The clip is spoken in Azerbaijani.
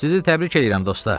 Sizi təbrik eləyirəm, dostlar!